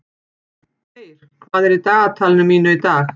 Þeyr, hvað er í dagatalinu mínu í dag?